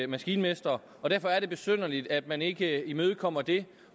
maskinmestre og derfor er det besynderligt at man ikke imødekommer det